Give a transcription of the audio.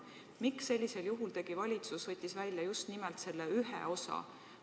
Miks tõstis valitsus esile just nimelt selle ühe vormi?